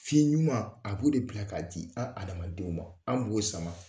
Fiɲɛ ɲuma a b'o de bila k'a di an adamadenw ma an b'o sama